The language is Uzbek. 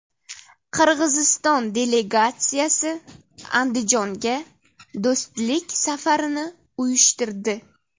Qirg‘iziston delegatsiyasi Andijonga do‘stlik safarini uyushtirdi .